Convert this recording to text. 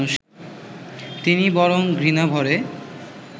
তিনি বরং ঘৃণাভরে